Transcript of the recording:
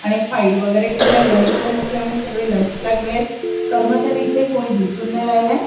आणि फाइल वगैरे ठेवल्या लंच टाइम असल्यामुळे सगळे लंच ला गेलेत कर्मचारी इथे कोणी दिसून नाही राहिले.